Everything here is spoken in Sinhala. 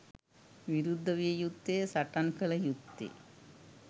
විරුද්ධ විය යුත්තේ, සටන් කළ යුත්තේ